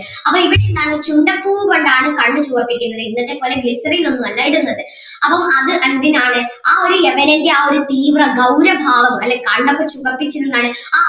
അപ്പൊ ഇവിടെ എന്താണ് ചുണ്ടപ്പൂവ് കൊണ്ട് ആണ് കണ്ണ് ചുവപ്പിക്കുന്നത് ഇന്നത്തെ പോലെ glycerine ഒന്നും അല്ല ഇടുന്നത് അപ്പം അത് എന്തിനാണ് ആ ഒരു യവനൻ്റെ ആ ഒരു തീവ്ര ഗൗരഭാവം അല്ലെ കണ്ണൊക്കെ ചുവപ്പിച്ച് എന്താണ്